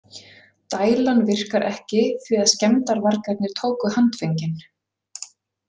Dælan virkar ekki, því að skemmdarvargarnir tóku handföngin.